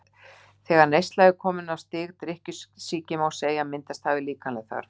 Þegar neyslan er komin á stig drykkjusýki má segja að myndast hafi líkamleg þörf.